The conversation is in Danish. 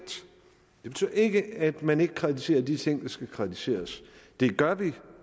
det betyder ikke at man ikke kritiserer de ting der skal kritiseres det gør vi